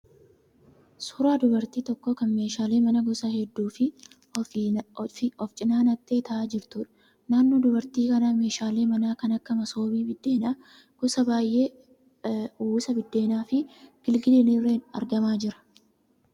Suuraa dubartii tokkoo kan meeshaalee manaa gosa hedduu ofi cina naqxee ta'aa jirtuudha. Naannoo dubartii kanaa meeshaalee manaa kan akka masoobii biddeenaa gosa baay'ee, uwwisaa biddeenaafi gilgiliin illee argamaa jira.